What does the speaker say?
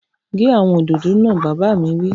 Gé àwọn òdòdó náà! Bàbá mi wí